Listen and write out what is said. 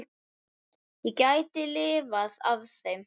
Ég gæti lifað á þeim.